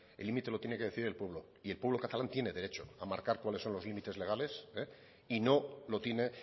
el límite lo tiene que decidir el pueblo y el pueblo catalán tiene derecho a marcar cuáles son los límites legales y no lo tiene